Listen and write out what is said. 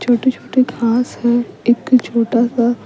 छोटे-छोटे खास है एक छोटा सा।